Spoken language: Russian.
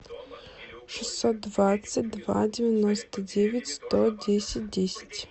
шестьсот двадцать два девяносто девять сто десять десять